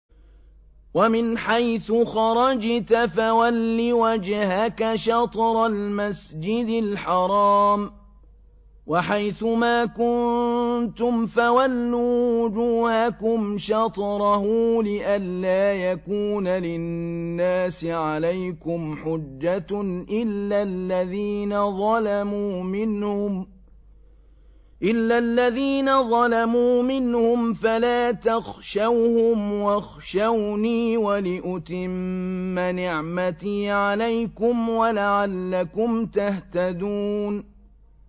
وَمِنْ حَيْثُ خَرَجْتَ فَوَلِّ وَجْهَكَ شَطْرَ الْمَسْجِدِ الْحَرَامِ ۚ وَحَيْثُ مَا كُنتُمْ فَوَلُّوا وُجُوهَكُمْ شَطْرَهُ لِئَلَّا يَكُونَ لِلنَّاسِ عَلَيْكُمْ حُجَّةٌ إِلَّا الَّذِينَ ظَلَمُوا مِنْهُمْ فَلَا تَخْشَوْهُمْ وَاخْشَوْنِي وَلِأُتِمَّ نِعْمَتِي عَلَيْكُمْ وَلَعَلَّكُمْ تَهْتَدُونَ